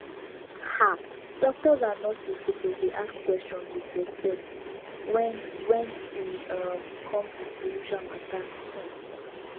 um doctors and nurses suppose dey ask questions with respect wen wen e um come to spiritual matter um